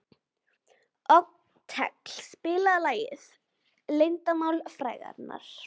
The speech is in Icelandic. Otkell, spilaðu lagið „Leyndarmál frægðarinnar“.